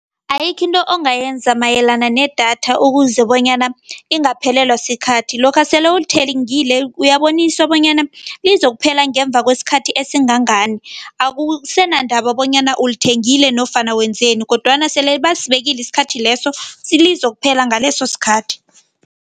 Ayikho into ongayenza mayelana nedatha ukuze bonyana ingaphelelwa sikhathi. Lokha sele ulithengile uyaboniswa bonyana lizokuphela ngemva kwesikhathi esingangani, akusenandaba bonyana ulithengile nofana wenzeni kodwana sele basibekile isikhathi leso, lizokuphela ngaleso sikhathi.